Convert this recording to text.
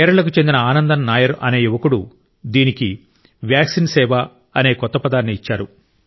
కేరళకు చెందిన ఆనందన్ నాయర్ అనే యువకుడు దీనికి వాక్సిన్ సేవ అనే కొత్త పదాన్ని ఇచ్చారు